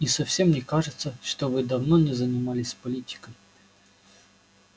и совсем не кажется что вы давно не занимались политикой